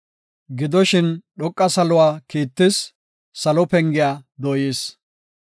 Gidoshin, dhoqa saluwa kiittis; salo pengiya dooyis.